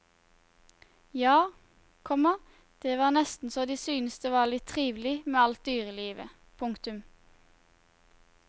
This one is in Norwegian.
Ja, komma det var nesten så de syntes det var litt trivelig med alt dyrelivet. punktum